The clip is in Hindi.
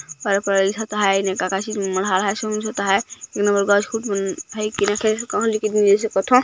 पर परइल ता आहे नेका कासी मन मधये आहे गच कूट मन है